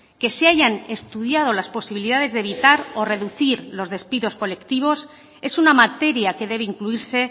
que se hayan estudiado las posibilidades de evitar o reducir los despidos colectivos es una materia que debe incluirse